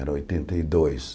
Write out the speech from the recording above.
Era oitenta e dois.